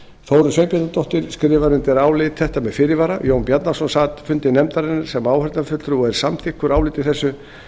þórunn sveinbjarnardóttir skrifar undir álit þetta með fyrirvara jón bjarnason sat fundi nefndarinnar sem áheyrnarfulltrúi og er samþykkur áliti þessu